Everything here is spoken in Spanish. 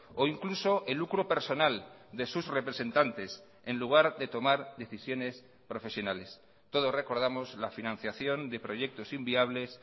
o incluso el lucro personal de sus representantes en lugar de tomar decisiones profesionales todos recordamos la financiación de proyectos inviables